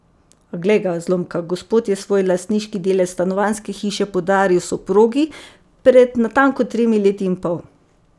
A, glej ga, zlomka, gospod je svoj lastniški delež stanovanjske hiše podaril soprogi pred natanko tremi leti in pol.